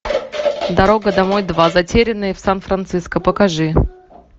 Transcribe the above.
дорога домой два затерянные в сан франциско покажи